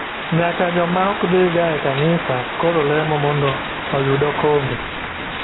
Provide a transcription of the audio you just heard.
Nyaka joma ok dhi ga e kanisa koro lemo mondo oyud okombe.